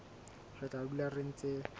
re tla dula re ntse